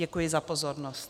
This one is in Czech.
Děkuji za pozornost.